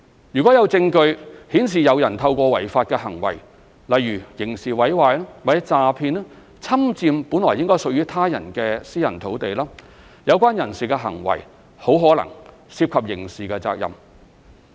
如果有證據顯示有人透過違法行為，例如刑事毀壞或詐騙，侵佔本來屬於他人的私人土地，有關人士的行為很可能涉及刑事責任。